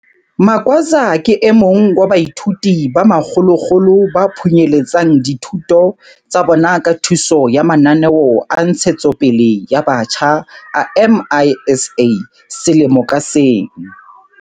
Magwaza ke e mong wa baithuti ba makgolokgolo ba phunyeletsang dithutong tsa bona ka thuso ya mananeo a ntshetsopele ya batjha a MISA selemo ka seng.